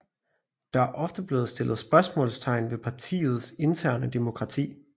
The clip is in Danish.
Der er ofte blevet stillet spørgsmålstegn ved partiets interne demokrati